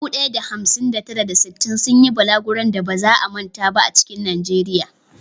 Dubu ɗaya da hamsin da tara, da sittin sun yi balaguron da ba za a manta ba a cikin Najeriya.